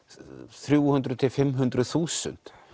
þrjú hundruð fimm hundruð þúsund